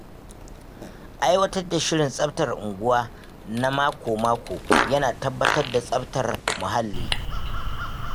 Aiwatar da shirin tsaftar unguwa na mako-mako yana tabbatar da tsabtar muhalli.